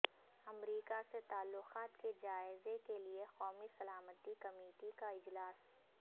امریکا سے تعلقات کے جائزے کیلئے قومی سلامتی کمیٹی کا اجلاس